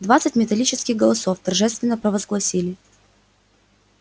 двадцать металлических голосов торжественно провозгласили